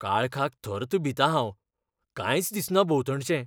काळखाक थर्त भितां हांव, कांयच दिसना भोंवतणचें!